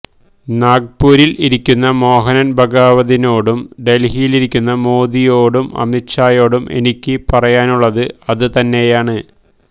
നാഗ്പൂരില് ഇരിക്കുന്ന മോഹന് ഭഗവതിനോടും ഡല്ഹിയിലിരിക്കുന്ന മോദിയോടും അമിത് ഷായോടും എനിക്ക് പറയാനുള്ളത് അത് തന്നെയാണ്